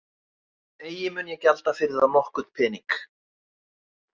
Eigi mun ég gjalda fyrir þá nokkurn penning.